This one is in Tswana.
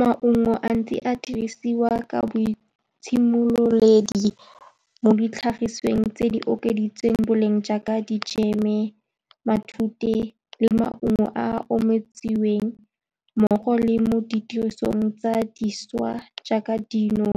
Maungo a ntse a dirisiwa ka boitshemololedi mo ditlhagiswang tse di okeditseng boleng, jaaka dijeme, matute le maungo a o omisitsweng, mmogo le mo ditirisong tse dišwa, jaaka dino,